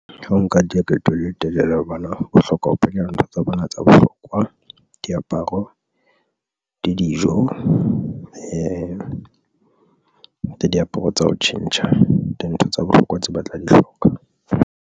Ha o nka leeto le le telele hobane o hloka ho kenya dintho tsa bona tsa bohlokwa. Diaparo le dijo le di diaparo tsa ho tjhentjha dintho tsa bohlokwa tseo ba tla di hloka.